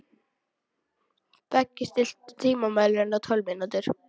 Beggi, stilltu tímamælinn á tólf mínútur.